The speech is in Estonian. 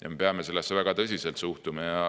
Ja me peame sellesse väga tõsiselt suhtuma.